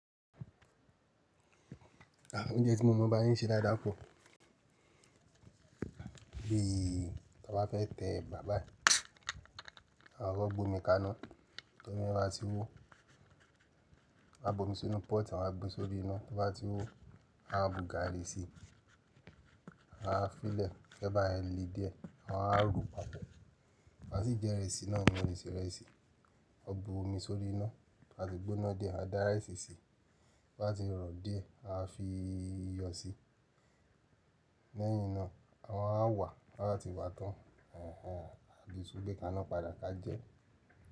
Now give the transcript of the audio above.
Àwọn oúnjẹ tí mo mọ̀ bá yín ṣe láí dáko. Bí a bá fẹ́ tẹ bàbá yi, a koko gbòmi kaná tó mi yen bá ti wó, a bo mí sínú pọ́ọ̀tì, a wa gbé sórí iná tó bá ti wó, a wa bu gààrí sí i, a wáa fílẹ̀ kẹ́ ebá yẹ́n le díẹ̀, àwa rò pọ̀. Ko bá sì jẹ ìrẹsì náà mo le se ìrẹsì. O bu omi sórí iná tó bá ti gbóná di e, a dá rice sí i tó bá ti rọ̀ dié, a fi iyọ̀ sí i. Lẹ́yìn naá, à maa wa wà tab ti wá tán. Ẹ̀hẹ̀n, a bí i sú gbe kaná padà ká jẹ.